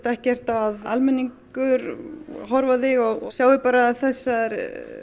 ekkert að almenningur horfi á þig og sjái bara þessar